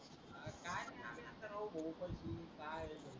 आत्ता राव